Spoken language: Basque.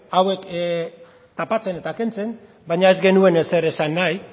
hauek tapatzen eta kentzen baina ez genuen ezer esan nahi